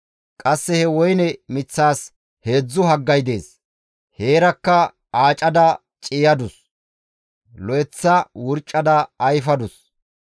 Qasse he woyne miththaas heedzdzu haggay dees. Heerakka aacada ciiyadus; lo7eththa wurcada ayfadus.